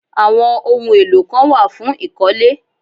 Àwọn ohun èlò kan wà fún ìkọ́lé